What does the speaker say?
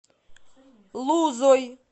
лузой